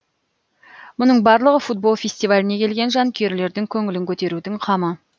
мұның барлығы футбол фестиваліне келген жанкүйерлердің көңілін көтерудің қамы